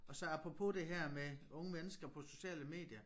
Og så apropos det her med unge mennesker på sociale medier